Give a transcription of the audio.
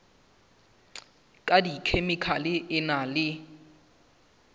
ka dikhemikhale e na le